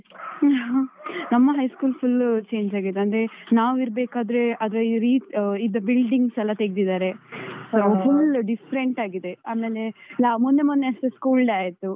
ನಮ್ಮ high school full change ಆಗಿದೆ ಅಂದ್ರೆ ನಾವು ಇರ್ಬೇಕಾದ್ರೆ ಅದು ಇದ್ದ buildings ಎಲ್ಲ ತೆಗ್ದಿದ್ದಾರೆ. full different ಆಗಿದೆ. ಆಮೇಲೆ, ಮೊನ್ನೆ ಮೊನ್ನೆ ಅಷ್ಟೆ school day ಆಯ್ತು.